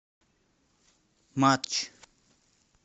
матч